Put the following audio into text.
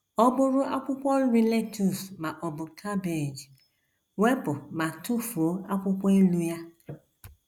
Ọ bụrụ akwụkwọ nri lettuce ma ọ bụ cabbage, wepụ ma tụfuo akwụkwọ elu ya.